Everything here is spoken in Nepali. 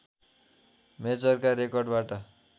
मेजरका रेकर्डबाट